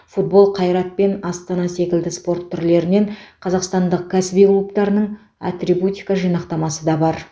футбол қайрат пен астана секілді спорт түрлерінен қазақстандық кәсіби клубтарының атрибутика жинақтамасы да бар